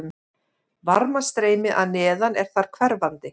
Varmastreymi að neðan er þar hverfandi.